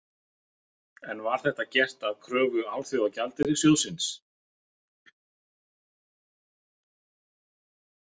En var þetta gert að kröfu Alþjóðagjaldeyrissjóðsins?